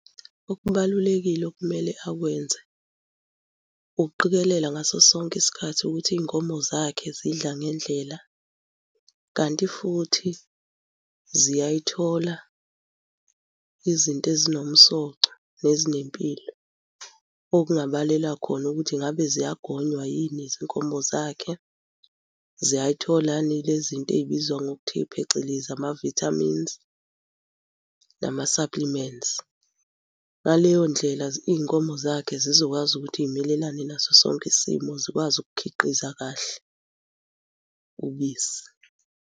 Okubalulekile okumele akwenze ukuqikelela ngaso sonke isikhathi ukuthi iy'nkomo zakhe zidla ngendlela kanti futhi ziyayithola izinto ezinomsoco nezinempilo. Okungabalelwa khona ukuthi ngabe ziyagonywa yini izinkomo zakhe. Ziyayithola yini le zinto ezibizwa ngokuthe phecelezi, ama-vitamins nama-supplements. Ngaleyo ndlela iy'nkomo zakhe zizokwazi ukuthi y'melelane naso sonke isimo zikwazi ukukhiqiza kahle, ubisi.